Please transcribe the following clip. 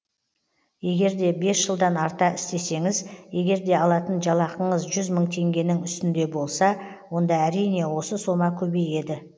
егер де бес жылдан арта істесеңіз егер де алатын жалақыңыз жүз мың теңгенің үстінде болса онда әрине осы сома көбейеді